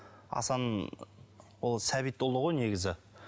асан ол сәбитұлы ғой негізі